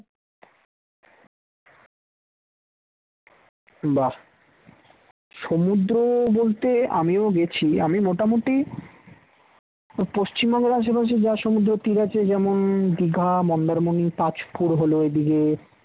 বাহ সমুদ্র বলতে, আমিও গেছি আমি মোটামুটি পশ্চিমবঙ্গের আশেপাশে যা সমুদ্র তীর আছে যেমন দীঘা মন্দারমনি তাজপুর হলো ওই দিকে